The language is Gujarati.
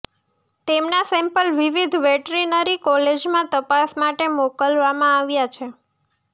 તેમના સેમ્પલ વિવિધ વેટરીનરી કોલેજમાં તપાસ માટે મોકલવામાં આવ્યા છે